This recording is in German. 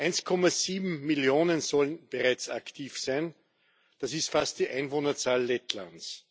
1,7 Millionen sollen bereits aktiv sein, das ist fast die Einwohnerzahl Lettlands.